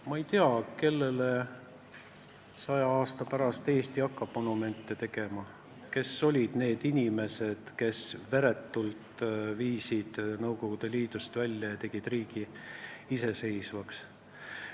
Ma ei tea, kellele hakkab Eesti 100 aasta pärast monumente tegema, kes olid need inimesed, kes viisid meie riigi veretult Nõukogude Liidust välja ja meid iseseisvaks tegid.